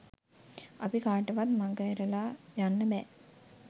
අපි කාටවත් මඟහැරලා යන්න බෑ.